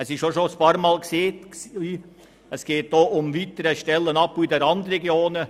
Wie schon ein paarmal gesagt, geht es auch um den weiteren Stellenabbau in den Randregionen.